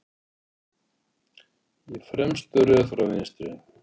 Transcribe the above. Í fremstu röð frá vinstri